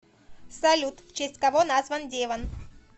салют в честь кого назван девон